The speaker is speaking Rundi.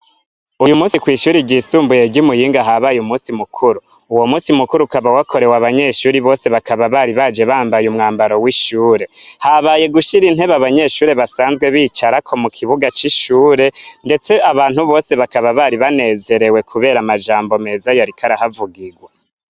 Uyumusi kw'ishure ry'isumbuye ry'iMuyinga habaye umusi mukuru. Uwo musi mukuru ukaba wakorewe abanyeshure bose bakaba bari baje bambaye umwambaro w'ishure. Habaye gushira intebe abanyeshure basanzwe bicarako mukibuga c'ishure ndetse abantu bose bakaba bari banezerewe kubera amajambo meza yariko arahavugirwa.